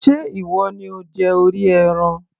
ṣe ìwọ ni ó jẹ orí ẹran